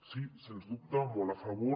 sí sens dubte molt a favor